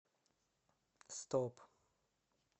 стоп